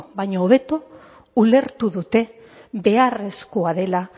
baino hobeto ulertu dute beharrezkoa dela